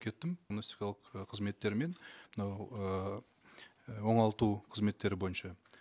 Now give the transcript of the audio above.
кеттім диагностикалық ы қызметтермен мынау ыыы оңалту қызметтері бойынша